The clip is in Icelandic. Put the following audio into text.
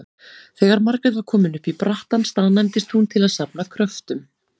Þegar Margrét var komin upp í brattann staðnæmdist hún til að safna kröftum.